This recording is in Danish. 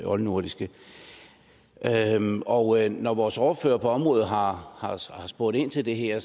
oldnordiske og når vores ordfører på området har spurgt ind til det her